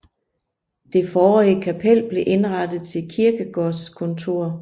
Det forrige kapel blev indrettet til kirkegårdskontor